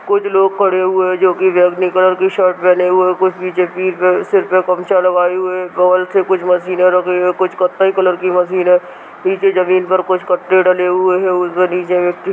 कुछ लोग खड़े हुए हैं जो की रेड बैंगनी कलर की शर्ट पहने हुए हैं कुछ नीचे सर पे गमछा लगाये हुए हैं बगल से कुछ मशीने रखी हुई है कुछ कत्थई कलर की मशीन है पीछे जमीन पर कुछ पत्ते डले हुए हैं नीचे एक व्यक्ति--